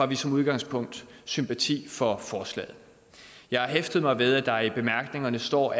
vi som udgangspunkt sympati for forslaget jeg har hæftet mig ved at der i bemærkningerne står